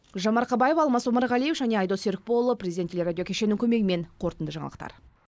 гүлжан марқабаева алмас омарғалиев және айдос серікболұлы президент телерадио кешенінің көмегімен қорытынды жаңалықтар